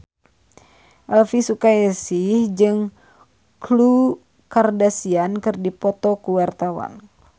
Elvy Sukaesih jeung Khloe Kardashian keur dipoto ku wartawan